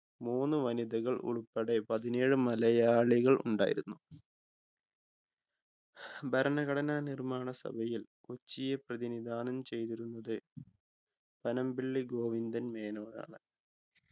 മൂന്ന് വനിതകൾ ഉൾപ്പടെ പതിനേഴ് മലയാളികൾ ഉണ്ടായിരുന്നു ഭരണഘടനാ നിർമ്മാണ സഭയിൽ കൊച്ചിയെ പ്രതിനിധാനം ചെയ്തിരുന്നത് പനമ്പിള്ളി ഗോവിന്ദൻ മേനോൻ ആണ്